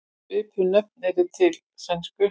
Svipuð nöfn eru til í sænsku.